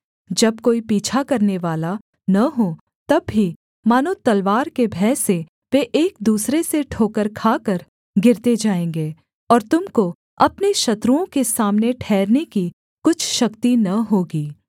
जब कोई पीछा करनेवाला न हो तब भी मानो तलवार के भय से वे एक दूसरे से ठोकर खाकर गिरते जाएँगे और तुम को अपने शत्रुओं के सामने ठहरने की कुछ शक्ति न होगी